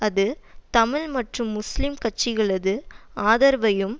அது தமிழ் மற்றும் முஸ்லிம் கட்சிகளது ஆதரவையும்